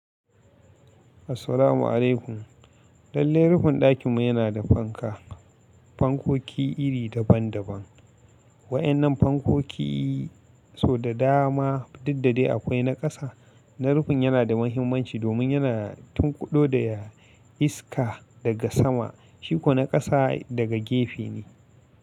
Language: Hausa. Assalamu'alaikum. Lallai rufin ɗakinmu yana da fanka. Fankoki iri daban daban. Waƴannan fankoki so da dama duk da dai akwai na ƙasa. Na rufin yana da mahimmanci domin yana tunkuɗo da iska daga sama, shi ko na ƙasa daga gefe ne.